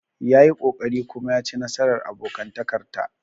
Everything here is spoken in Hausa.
Ya yi ƙoƙari kuma ya ci nasarar abokantakar ta.